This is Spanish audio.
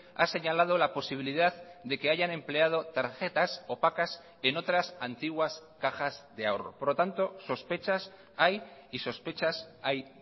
ha señalado la posibilidad de que hayan empleado tarjetas opacas en otras antiguas cajas de ahorro por lo tanto sospechas hay y sospechas hay